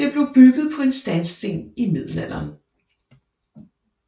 Det blev bygget på en sandsten i Middelalderen